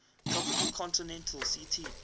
tropical continental ct